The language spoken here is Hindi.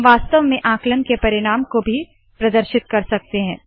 हम वास्तव में आंकलन के परिणाम को भी प्रदर्शित कर सकते है